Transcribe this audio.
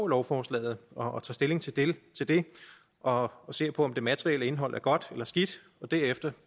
lovforslaget og tager stilling til det og og ser på om det materielle indhold er godt eller skidt og derefter